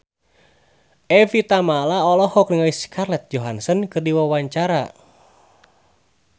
Evie Tamala olohok ningali Scarlett Johansson keur diwawancara